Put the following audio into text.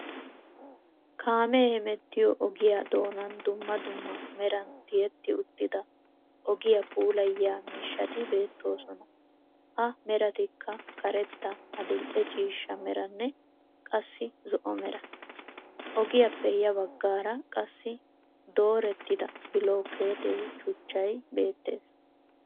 Kamee hemettiyoo ogiyaa doonan dumma dumma meran tiyetti uttida ogiyaa puulayiyaa miishshati beettoosona. Ha meratikka karettaa, adil"e ciishsha meranne qassi zo"o meraa. ogiyaappe ya baggaara qassi doorettida bilookeete shuuchchay beettees.